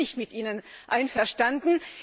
Da bin ich nicht mit Ihnen einverstanden.